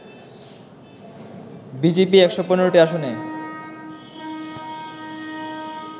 BJP ১১৫টি আসনে